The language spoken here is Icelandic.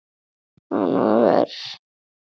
Annað vers.